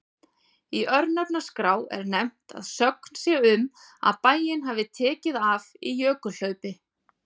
Í örnefnaskrá er nefnt að sögn sé um að bæinn hafi tekið af í jökulhlaupi.